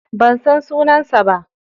Ban san sunansa ba.